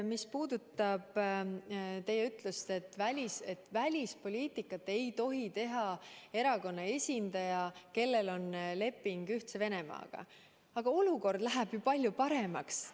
Mis puudutab teie ütlust, et välispoliitikat ei tohi teha selle erakonna esindaja, kellel on leping Ühtse Venemaaga, siis olukord läheb ju palju paremaks.